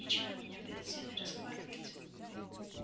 нечего меня перед всеми расхваливать